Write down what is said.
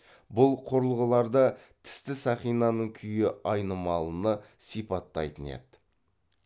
бұл құрылғыларда тісті сақинаның күйі айнымалыны сипаттайтын еді